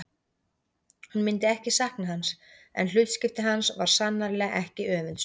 Hún myndi ekki sakna hans en hlutskipti hans var sannarlega ekki öfundsvert.